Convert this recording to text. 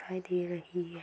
खाई दे रही है।